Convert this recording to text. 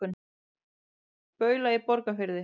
Baula í Borgarfirði.